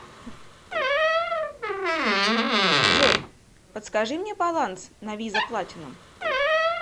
джой подскажи мне баланс на виза платинум